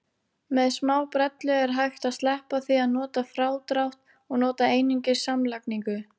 Með smábrellu er hægt að sleppa því að nota frádrátt og nota einungis samlagningu.